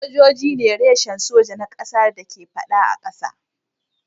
Sojoji ne reshen soja na kasar da ke fada a kasa.